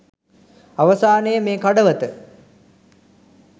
අවසානයේ මේ කඩවත